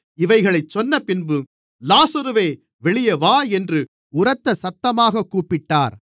இவைகளைச் சொன்னபின்பு லாசருவே வெளியே வா என்று உரத்த சத்தமாகக் கூப்பிட்டார்